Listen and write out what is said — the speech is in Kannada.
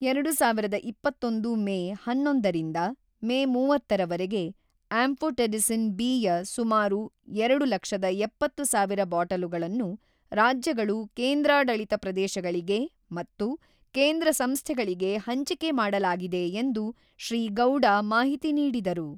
ಎರಡು ಸಾವಿರದ ಇಪ್ಪತ್ತೊಂದು ಮೇ ಹನ್ನೊಂದರಿಂದ ಮೇ ಮೂವತ್ತರವರೆಗೆ ಆಂಫೊಟೆರಿಸಿನ್ ಬಿ ಯ ಸುಮಾರು ಎರಡು ಲಕ್ಷದ ಎಪ್ಪತ್ತು ಸಾವಿರ ಬಾಟಲುಗಳನ್ನು ರಾಜ್ಯಗಳು ಕೇಂದ್ರಾಡಳಿತ ಪ್ರದೇಶಗಳಿಗೆ ಮತ್ತು ಕೇಂದ್ರ ಸಂಸ್ಥೆಗಳಿಗೆ ಹಂಚಿಕೆ ಮಾಡಲಾಗಿದೆ ಎಂದು ಶ್ರೀ ಗೌಡ ಮಾಹಿತಿ ನೀಡಿದರು.